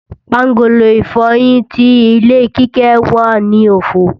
Pángolo ìfọyín ti ilé Kíkẹ́ wà ní òfo